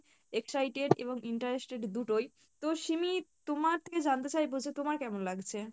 excited এবং interested দুটোই, তো সিমি তোমার থেকে জানতে চাইবো যে তোমার কেমন লাগছে?